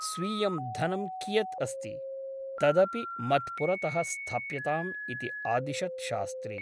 स्वीयं धनं कियत् अस्ति ? तदपि मत्पुरतः स्थाप्यताम् इति आदिशत् शास्त्री ।